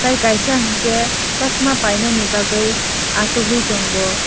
tei kaisa hingke sosma painani bagoi asogoi tango.